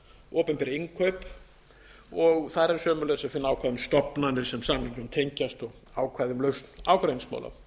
opinber innkaup þar er sömuleiðis að finna ákvæði um stofnanir sem samningnum tengjast og ákvæði um lausn ágreiningsmála